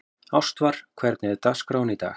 Ástvar, hvernig er dagskráin í dag?